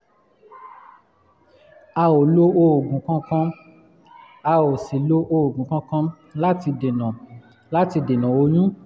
a ò lo oògùn kankan a ò sì lo oògùn kankan láti dènà láti dènà oyún